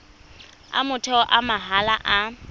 a motheo a mahala a